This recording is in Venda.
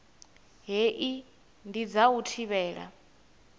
hei ndi dza u thivhela